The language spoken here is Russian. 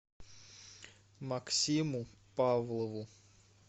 максиму павлову